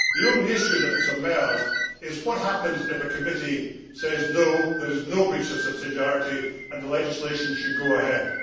The only point that has emerged is what happens if a committee says no, there is no breach of subsidiarity and the legislation should go ahead'.